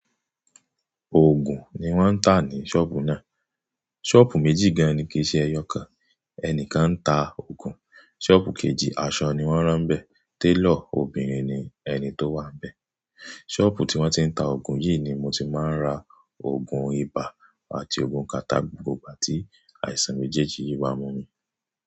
Òògùn ni wọ́n ń tà ní ṣọ́ọ̀bù náà. Ṣọ́ọ̀bù méjì gan-an ni kì í ṣe ẹyọ kan, ẹni kan ń ta òògùn. Ṣọ́ọ̀bù kejì aṣọ ni wọ́n rán bẹ́ẹ̀. Tailor obìnrin ni ẹni tó wà bẹ́ẹ̀. Ṣọ́ọ̀bù tí wọ́n ti ń ta òògùn yìí ni mo ti máa ń ra òògùn ibà àti òògùn Carttarh gbogbo igba tí àìsàn méjèèjì yìí bá mú mi.